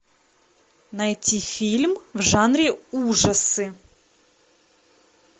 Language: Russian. найти фильм в жанре ужасы